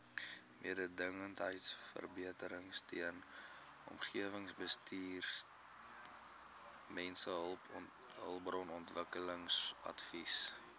mededingendheidsverbeteringsteun omgewingsbestuursteun mensehulpbronontwikkelingsadvies